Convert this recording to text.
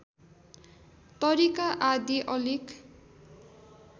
तरिका आदि अलिक